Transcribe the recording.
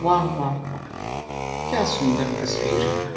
वाह वाह वाह क्या सुंदर तस्वीर है।